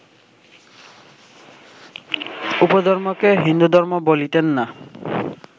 উপধর্মকে হিন্দুধর্ম বলিতেন না